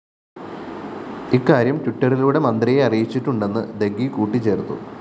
ഇക്കാര്യം ട്വിറ്ററിലൂടെ മന്ത്രിയെ അറിയിച്ചിട്ടുമുണ്ടെന്ന് ദഗ്ഗി കൂട്ടിച്ചേര്‍ത്തു